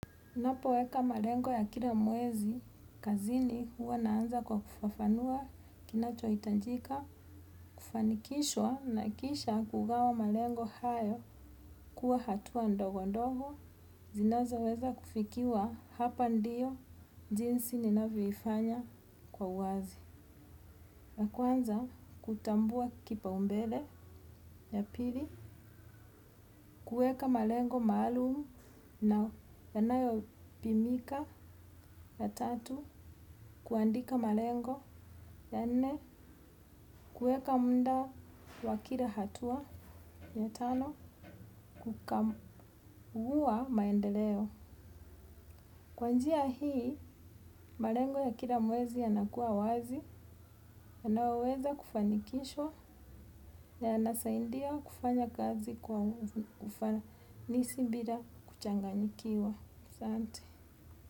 Ninapoweka malengo ya kila mwezi, kazini huwa naanza kwa kufafanua kinachohitajika, kufanikishwa na kisha kugawa malengo hayo kuwa hatua ndogo ndogo, zinazoweza kufikiwa hapa ndiyo jinsi ninavyoifanya kwa uwazi. Ya kwanza kutambua kipaumbele ya pili, kuweka malengo maalum na yanayopimika ya tatu, kuandika malengo ya nne, kuweka muda wa kila hatua ya tano, kukamua maendeleo. Kwa njia hii, malengo ya kila mwezi yanakuwa wazi, yanaweza kufanikishwa, yanasaidia kufanya kazi kwa ufanisi bila kuchanganyikiwa. Asante.